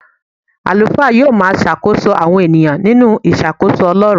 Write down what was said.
Àlùfáà yóò máa ṣàkóso àwọn ènìyàn nínú ìṣàkóso Ọlọ́run.